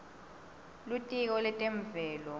litiko letemvelo